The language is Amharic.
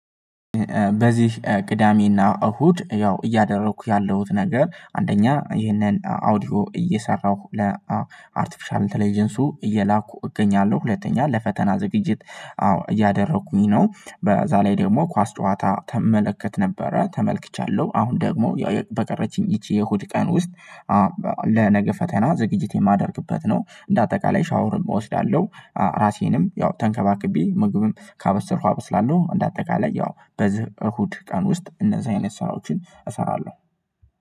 በዚህ ቅዳሜና እሁድ ያው እያደረኩ ያለሁት ነገር አንደኛ ይህንን አውዲዮ እየሰራሁ ለአርቲፊሻል ኢንተለጀንሱ እየላኩ እገኛለሁ ሁለተኛ ለፈተና ዝግጅት አዎ እያደረኩኝ ነው። በዛ ላይ ደግሞ ኳስ ጨዋታ ትመለከት ነበረ ተመልክቻለሁ። አሁን ደግሞ በቀረችኝ ይቺ የእሁድ ቀን ውስጥ ለነገ ፈተና ዝግጅት የማደርግበት ነው። እንደ አጠቃላይ ሻወርም እወስዳለሁ። ራሴንም ያው ተንከባክቤ ምግብም ካበሰልኩ አበስላለሁ እንደ አጠቃላይ ያው በዚህ እሁድ ቀን ውስጥ እነዛ አይነት ስራዎችን እሰራለሁ።